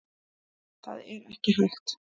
Það er ekki hægt.